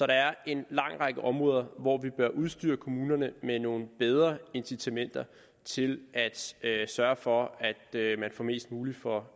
der er en lang række områder hvorpå vi bør udstyre kommunerne med nogle bedre incitamenter til at sørge for at man får mest muligt for